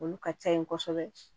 Olu ka ca yen kosɛbɛ